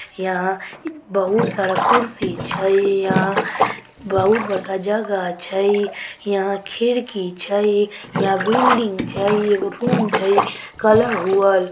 यहां बहुत सारा कुर्सी छै। यहां बहुत बड़का जगह छै। यहां खिड़की छै। यहां बिल्डिंग छै एगो रूम छै कलर होयल।